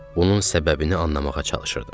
Bunun səbəbini anlamağa çalışırdım.